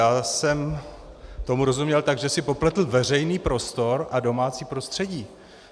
Já jsem tomu rozuměl tak, že si popletl veřejný prostor a domácí prostředí.